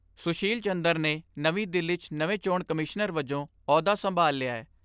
ਸੁਸ਼ੀਲ ਚੰਦਰ ਨੇ, ਨਵੀਂ ਦਿੱਲੀ 'ਚ ਨਵੇਂ ਚੋਣ ਕਮਿਸ਼ਨਰ ਵਜੋਂ ਆਹੁਦਾ ਸੰਭਾਲ ਲਿਐ।